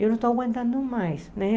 Eu não estou aguentando mais, né?